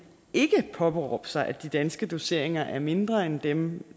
ikke påberåbe sig at de danske doseringer er mindre end dem